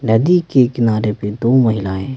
नदी के किनारे पे दो महिलाएं--